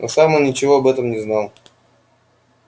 но сам он ничего об этом не знал